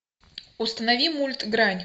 установи мульт грань